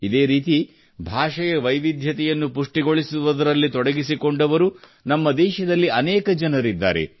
ಇದೇ ರೀತಿ ಭಾಷೆಯ ವೈವಿಧ್ಯವನ್ನು ಪುಷ್ಟಿಗೊಳಿಸುವಲ್ಲಿ ತೊಡಗಿಸಿಕೊಂಡವರು ನಮ್ಮ ದೇಶದಲ್ಲಿ ಅನೇಕ ಜನರಿದ್ದಾರೆ